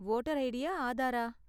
Voter ஐடியா ஆதாரா?